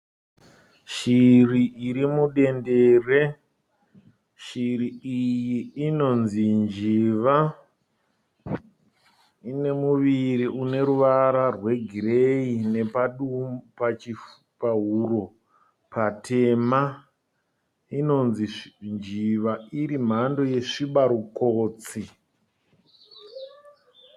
Shiri iri mudendere. Shiri iyi inonzi njiva. Ine muviri une ruvara rwegireyi nepahuro patema. Inonzi njiva iri mhando yesvibarukotsi.